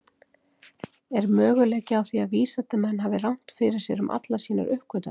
Er möguleiki á því að vísindamenn hafi rangt fyrir sér um allar sínar uppgötvanir?